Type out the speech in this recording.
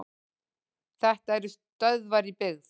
Þetta eru stöðvar í byggð.